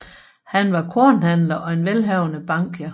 Han var kornhandler og en velhavende bankier